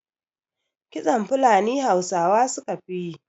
Kitson Funali Hausawa su ka fi yi